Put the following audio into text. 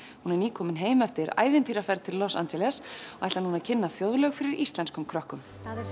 hún er nýkomin heim eftir ævintýraferð til Los Angeles og ætlar núna að kynna þjóðlög fyrir íslenskum krökkum